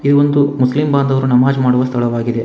ಇದು ಒಂದು ಮುಸ್ಲಿಂ ಬಾಂಧವರು ನಮಾಜ್ ಮಾಡುವ ಸ್ಥಳವಾಗಿದೆ.